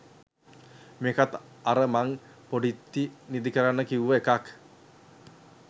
මේකත් අර මං පොඩිත්ති නිදි කරන්න කිව්ව එකක්.